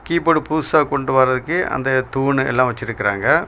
Keyboard புதுசா கொண்டு வரதுக்கு அந்த தூணு எல்லா வச்சிருக்காங்க.